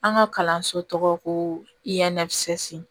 An ka kalanso tɔgɔ ko